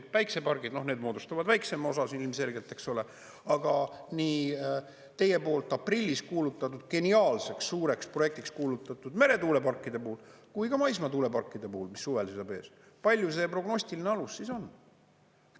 Päikesepargid moodustavad väiksema osa ilmselgelt, eks ole, aga nii teie poolt aprillis kuulutatud, geniaalseks suureks projektiks kuulutatud meretuuleparkide puhul kui ka maismaa tuuleparkide puhul, mis suvel seisab ees, palju see prognostilise alus siis on?